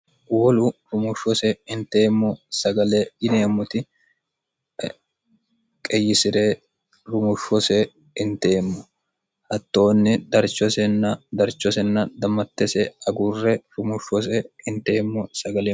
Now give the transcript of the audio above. wolu rumushshose inteemmo sagale dhineemmoti qeyisi're rumushshose hinteemmo hattoonni darchosenna darchosenna dammattese aguurre rumushshose inteemmo sagaleeo